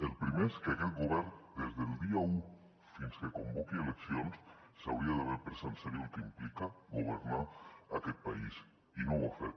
el primer és que aquest govern des del dia un fins que convoqui eleccions s’hauria d’haver pres en serio el que implica governar aquest país i no ho ha fet